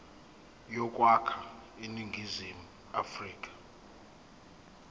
yokwakha iningizimu afrika